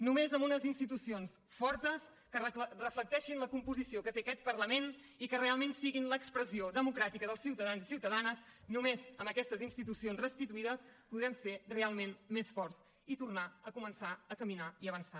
només amb unes institucions fortes que reflecteixin la composició que té aquest parlament i que realment siguin l’expressió democràtica dels ciutadans i ciutadanes només amb aquestes institucions restituïdes podrem ser realment més forts i tornar a començar a caminar i avançar